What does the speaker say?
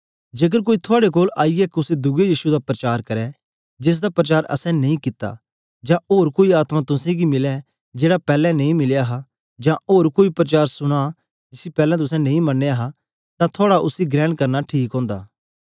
जेकर कोई थुआड़े कोल आईयै कुसे दुए यीशु दा प्रचार करै जेसदा परचार असैं नेई कित्ता जां कोई ओर आत्मा तुसेंगी मिलै जेड़ा पैलैं नेई मिलया हा जां ओर कोई परचार सुना जिसी पैलैं तुसें नेई मनया हा तां थुआड़ा उसी ग्रेण करना ठीक ओंदा